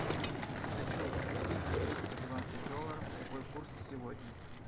хочу купить триста двадцать долларов какой курс сегодня